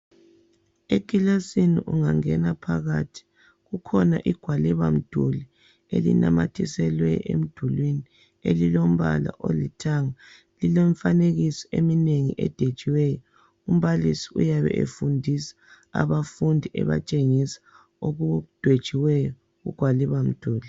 Ekilasini ungangena phakathi kukhona igwaliba mduli elinamathiselwe emdulini elilombala olithanga lilomfanekiso eminengi edwetshiweyo umbalisi uyabe efundisa abafundi ebatshengisa okudwetshiweyo kugwalibamduli